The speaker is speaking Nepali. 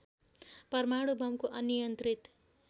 परमाणु बमको अनियन्त्रित